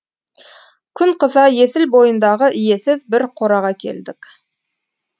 күн қыза есіл бойындағы иесіз бір қораға келдік